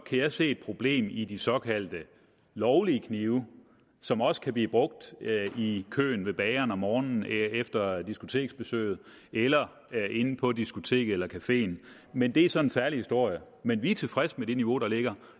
jeg se et problem i de såkaldt lovlige knive som også kan blive brugt i køen ved bageren om morgenen efter diskoteksbesøget eller inde på diskoteket eller cafeen men det er så en særlig historie men vi er tilfredse med det niveau der ligger